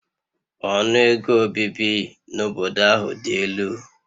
Ọnụ ego obibi n'obodo ahụ dị elu